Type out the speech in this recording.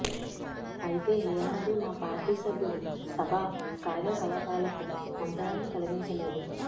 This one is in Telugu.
అయితే ఏనాడూ మా పార్టీ సభ్యులు సభా కార్యకలాపాలకు అంతరాయం కలిగించలేదు